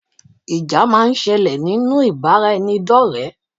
Ìjà máa ń sẹlẹ̀ nínú ìbáraẹnidọ́rẹ.